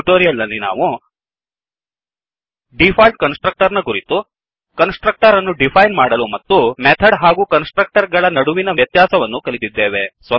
ಈ ಟ್ಯುಟೋರಿಯಲ್ ನಲ್ಲಿ ನಾವು ಡಿಫಾಲ್ಟ್ ಕನ್ಸ್ ಟ್ರಕ್ಟರ್ ನ ಕುರಿತು ಕನ್ಸ್ ಟ್ರಕ್ಟರ್ ಅನ್ನು ಡಿಫೈನ್ ಮಾಡಲು ಮತ್ತು ಮೆಥಡ್ ಹಾಗೂ ಕನ್ಸ್ ಟ್ರಕ್ಟರ್ ಗಳ ನಡುವಿನ ವ್ಯತ್ಯಾಸಗಳನ್ನು ಕಲಿತಿದ್ದೇವೆ